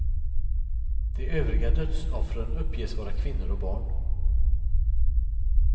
De övriga dödsoffren uppges vara kvinnor och barn.